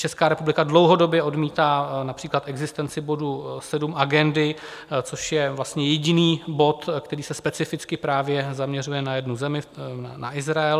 Česká republika dlouhodobě odmítá například existenci bodu 7 Agendy, což je vlastně jediný bod, který se specificky právě zaměřuje na jednu zemi, na Izrael.